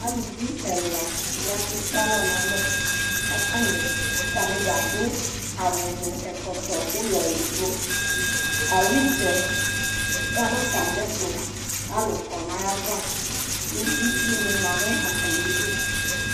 Aluvi ɛla ya k'ekpealɔ n'alɛ, k'atanɩ atanɩdza adʋ awʋ n'ɛkɔtɔ ʋlɔ edigbo Owutsɛ ya n'atamɩɛtʋ k'alʋ kɔ n'ayava ; kʋ itsunɩ ma n'atamidu